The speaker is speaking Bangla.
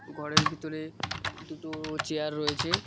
ঘরের ভিতরে দুটো চেয়ার রয়েছে।